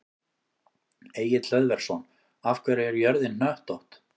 Egill Hlöðversson: Af hverju er jörðin hnöttótt?